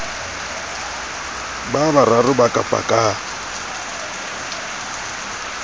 ba bararo ba ka pakang